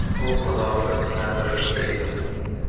U Qozog‘iston Senati raisi edi.